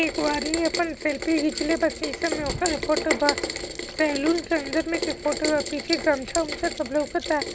एगो आदमी अपन सेल्फी घिंचले बा शीशे में अपने फोटो बा सैलून के अंदर में के फोटो बा पीछे गमछा-उम्छा सब लउकता।